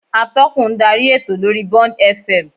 Atọ́kùn ń darí ètò lórí Bond F. M